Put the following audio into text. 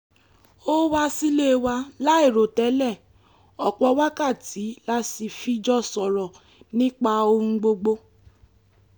ó wá sílé wa láìròtẹ́lẹ̀ ọ̀pọ̀ wákàtí la sì fi jọ sọ̀rọ̀ nípa ohun gbogbo